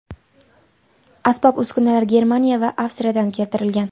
Asbob-uskunalar Germaniya va Avstriyadan keltirilgan.